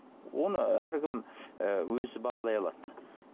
оны әркім ы өзі бағалай алады